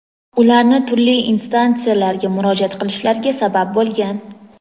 ularni turli instansiyalarga murojaat qilishlariga sabab bo‘lgan.